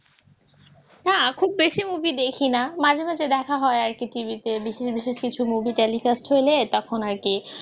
না খুব বেশি movie দেখি না মাঝে মাঝে দেখা হয় আরকি TV তে বিশেষ বিশেষ কিছু movie telecast হলে তখন আর কি